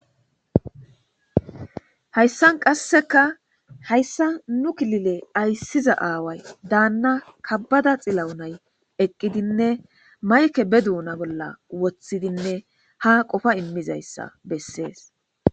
Hayssan qasseka hayssa nu kilile ayssiza aaway daanna kabbada xilaunay eqqidinne mayke be duuna bolla woththidinne ha qofa immizayssa bessees.